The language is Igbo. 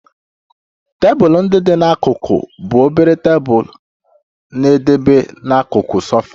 Tebụl ndị dị n'akụkụ bụ obere tebụl na-edebe n'akụkụ sofa